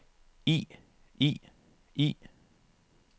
i i i